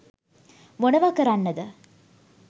මොනවා කරන්නද